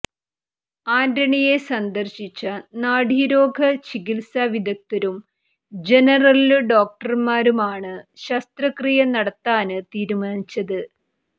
ആന്റണിയെ സന്ദര്ശിച്ച നാഡീരോഗ ചികിത്സ വിദഗ്ദ്ധരും ജനറല് ഡോക്ടര്മാരുമാണ് ശസ്ത്രക്രിയ നടത്താന് തീരുമാനിച്ചത്